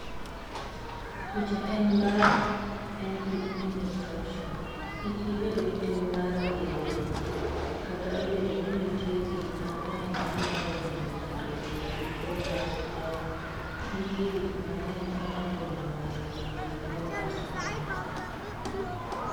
Picha en mar:Empic Image caption, "Kik ibed gi tim mar rieyo dendi" Kata obedo ni nitie gik mang'eny manyalo miyo ng'ato obed gi tuwo mar sukari, nitie gik mang'eny manyalo miyo ng'ato obed gi tuwo mar sukari.